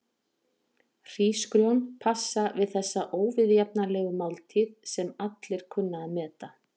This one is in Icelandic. Hrísgrjón passa við þessa óviðjafnanlegu máltíð sem allir kunna að meta.